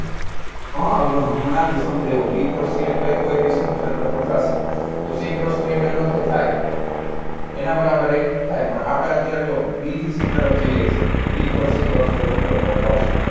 હમણાં જ સમજાવ્યું b cross c એટલે oabc નુ ક્ષેત્રફળ થશે એટલે c cross b એટલે એનો અર્થ એય થાય એના બરાબર એય થાય પણ અત્યારે આપણે જો b થી c તરફ જઈએ છે b cross c કરશું એટલે ઉપર તરફ આવશે